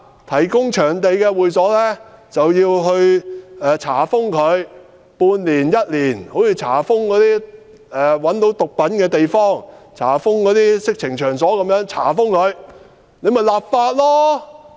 提供場地的會所就要被查封一年半載，就如查封毒品和色情場所一般。